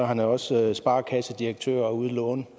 han er også sparekassedirektør og ude at låne